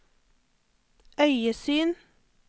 øyesyn